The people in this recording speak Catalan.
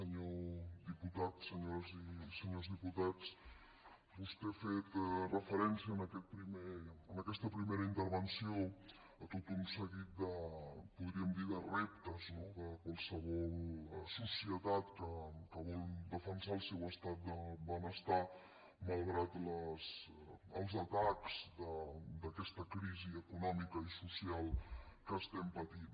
senyor diputat senyores i senyors diputats vostè ha fet referència en aquesta primera intervenció a tot un seguit podríem dirne de reptes no de qualsevol societat que vol defensar el seu estat de benestar malgrat els atacs d’aquesta crisi econòmica i social que estem patint